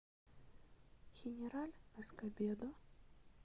хенераль эскобедо